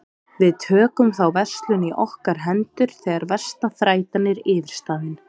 Við tökum þá verslun í okkar hendur þegar versta þrætan er yfirstaðin.